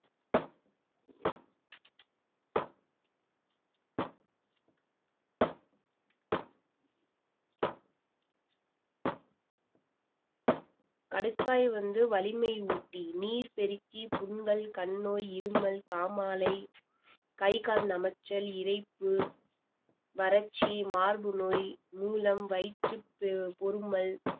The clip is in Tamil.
கடுக்காய் வந்து வலிமையூட்டி, நீர் பெருக்கி, புண்கள், கண்நோய், இருமல், காமாலை, கை, கால் நமச்சல், இரைப்பு, வறட்சி, மார்பு நோய், மூலம், வயிற்று ப~ பொருமல்